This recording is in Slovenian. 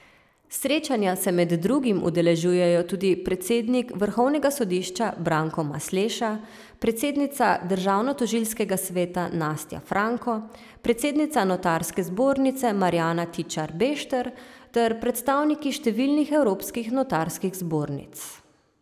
Srečanja se med drugimi udeležujejo tudi predsednik vrhovnega sodišča Branko Masleša, predsednica državnotožilskega sveta Nastja Franko, predsednica notarske zbornice Marjana Tičar Bešter ter predstavniki številnih evropskih notarskih zbornic.